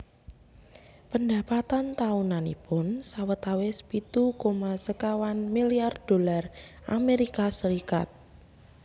Pendapatan taunanipun sawetawis pitu koma sekawan miliar dolar Amerika Serikat